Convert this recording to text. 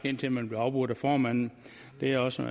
indtil man blev afbrudt af formanden det er også